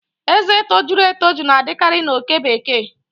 Ezé tojuru etoju na-adịkarị na oke bekee